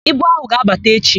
Ibu áhụ̀ ga-abata echi.